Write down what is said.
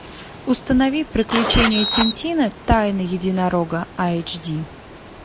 установи приключения тинтина тайна единорога эйч ди